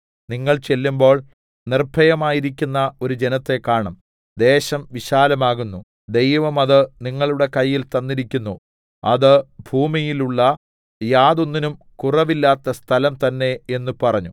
നിങ്ങൾ ചെല്ലുമ്പോൾ നിർഭയമായിരിക്കുന്ന ഒരു ജനത്തെ കാണും ദേശം വിശാലമാകുന്നു ദൈവം അത് നിങ്ങളുടെ കയ്യിൽ തന്നിരിക്കുന്നു അത് ഭൂമിയിലുള്ള യാതൊന്നിനും കുറവില്ലാത്ത സ്ഥലം തന്നേ എന്ന് പറഞ്ഞു